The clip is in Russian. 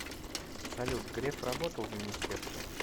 салют греф работал в министерстве